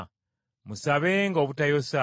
Musabenga obutayosa.